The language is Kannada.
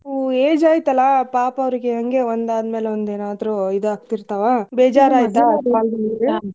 ಹ್ಮ್ age ಆಯ್ತಲ್ಲಾ ಪಾಪ ಅವ್ರಿಗೆ ಹಂಗೆ ಒಂದ್ ಆದ್ಮೇಲೆ ಒಂದ್ ಏನಾದ್ರು ಇದ್ ಆಗ್ತಿರ್ತಾವ .